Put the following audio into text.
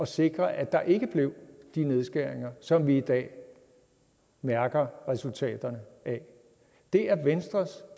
sikre at der ikke blev de nedskæringer som vi i dag mærker resultaterne af det er venstres